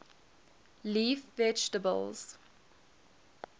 leaf vegetables